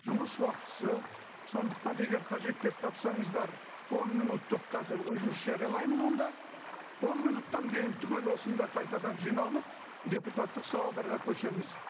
жұмыс уақытысы сондықтан егер қажет деп тапсаңыздар он минуттық қазір үзіліс жариялаймын онда он минуттан кейін түгел осында қайтадан жиналып депутаттық сауалдарға көшеміз